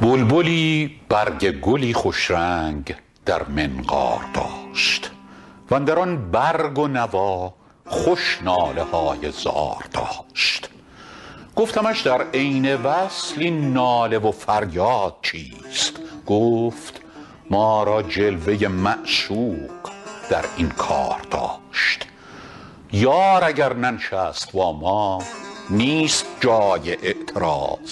بلبلی برگ گلی خوش رنگ در منقار داشت و اندر آن برگ و نوا خوش ناله های زار داشت گفتمش در عین وصل این ناله و فریاد چیست گفت ما را جلوه ی معشوق در این کار داشت یار اگر ننشست با ما نیست جای اعتراض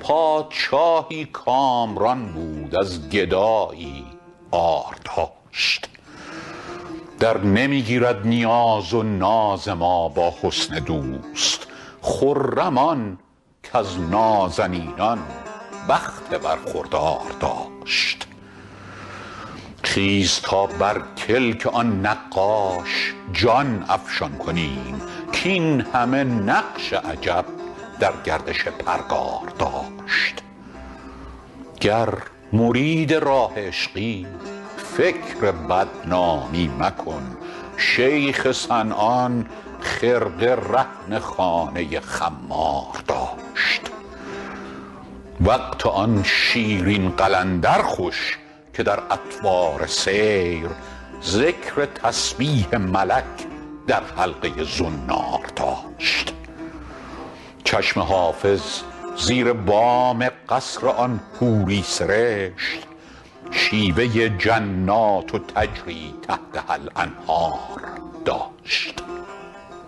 پادشاهی کامران بود از گدایی عار داشت درنمی گیرد نیاز و ناز ما با حسن دوست خرم آن کز نازنینان بخت برخوردار داشت خیز تا بر کلک آن نقاش جان افشان کنیم کاین همه نقش عجب در گردش پرگار داشت گر مرید راه عشقی فکر بدنامی مکن شیخ صنعان خرقه رهن خانه خمار داشت وقت آن شیرین قلندر خوش که در اطوار سیر ذکر تسبیح ملک در حلقه ی زنار داشت چشم حافظ زیر بام قصر آن حوری سرشت شیوه ی جنات تجری تحتها الانهار داشت